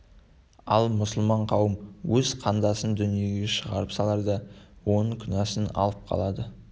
ал мұсылман қауым өз қандасын дүниеге шығарып саларда оның күнәсін алып қалады